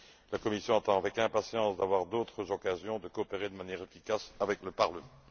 La Commission attend avec impatience d'avoir d'autres occasions de coopérer de manière efficace avec le Parlement.